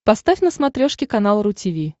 поставь на смотрешке канал ру ти ви